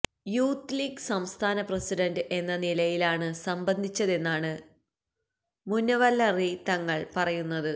youth league സംസ്ഥാന president എന്ന നിലയിലാണ് സംബന്ധിച്ചതെന്നാണ് മുനവ്വറലി തങ്ങള് പറയുന്നത്